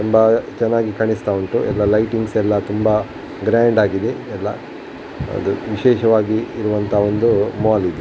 ತುಂಬಾ ಚೆನ್ನಾಗಿ ಕಾಣಿಸ್ತಾ ಉಂಟು ಎಲ್ಲ ಲೈಟಿಂಗ್ಸ್ ಎಲ್ಲ ತುಂಬಾ ಗ್ರಾಂಡ್ ಆಗಿದೆ ಎಲ್ಲ ಅದು ವಿಶೇಷವಾಗಿ ಇರುವಂಥ ಹಾಲ್ ಇದು.